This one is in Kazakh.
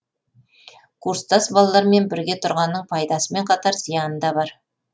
курстас балалармен бірге тұрғанның пайдасымен қатар зияны да бар